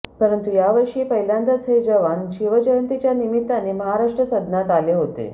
परंतु यावर्षी पहिल्यांदाच हे जवान शिवजयंतीच्या निमित्ताने महाराष्ट्र सदनात आले होते